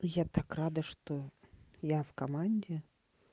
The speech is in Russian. я так рада что я в команде